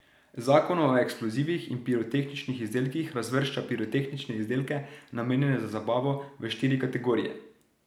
Zakon o eksplozivih in pirotehničnih izdelkih razvršča pirotehnične izdelke, namenjene za zabavo, v štiri kategorije.